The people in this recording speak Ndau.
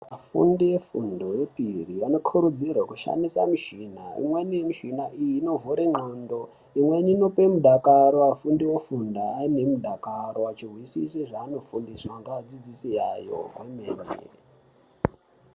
Afundi wefundo yepiri vanokurudzirwa kushandisa mishina, imweni mushina iyi anovhure n'ando ,imweni inope midakaro afundi ofunda aine midakaro achihwisisa zvaanofundiswa ndeadzidzisi awo zvomene.